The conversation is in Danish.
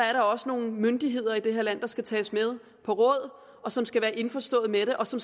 er der også nogle myndigheder i det her land der skal tages med på råd og og som skal være indforstået med det og som